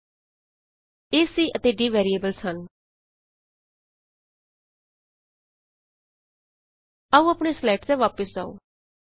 ਏ c ਅਤੇ d variables ਹਨ ਹੁਣ ਆਪਣੀਆਂ ਸਲਾਈਡਸ ਤੇ ਵਾਪਸ ਆਉ